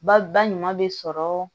Ba ba ɲuman bɛ sɔrɔ